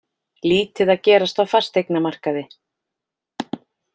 Lítið að gerast á fasteignamarkaði